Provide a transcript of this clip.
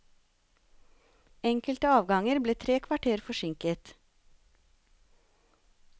Enkelte avganger ble tre kvarter forsinket.